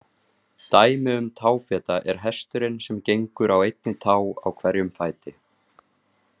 Dæmi um táfeta er hesturinn sem gengur á einni tá á hverjum fæti.